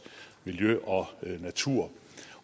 miljø og natur